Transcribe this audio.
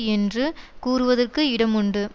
என்று கூறுவதற்கு இடமுண்டு